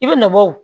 I bɛ nɔ bɔ o